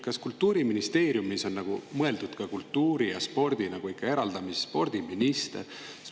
Kas Kultuuriministeeriumis on mõeldud ka kultuuri ja spordi eraldamisele, spordiminister?